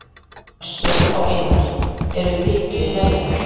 Össur og Einar eru vitni verjenda